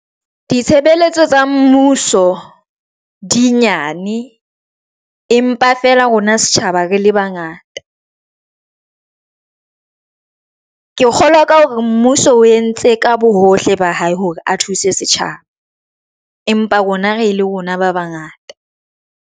Ditshebeletso tsa mmuso di nyane, empa fela rona setjhaba, re le bangata. Ke kgolwa ka hore mmuso o entse ka bohohle ba hae hore a thuse setjhaba empa rona re le rona ba bangata.